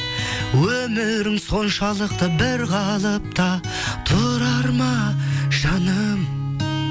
өмірің соншалықты бір қалыпта тұрар ма жаным